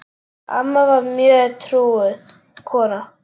Amma var mjög trúuð kona.